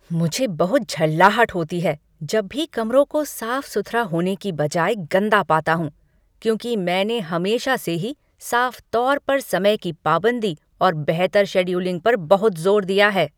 मुझे बहुत झल्लाहट होती है जब भी कमरों को साफ सुथरा होने की बजाय गंदा पाता हूँ क्योंकि मैंने हमेशा से ही साफ तौर पर समय की पाबंदी और बेहतर शेड्यूलिंग पर बहुत जोर दिया है।